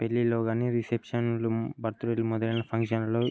పెళ్ళిలో గానిరిసెప్సన్ బర్తడే మొదలైన ఫంక్షన్ లో ఈ --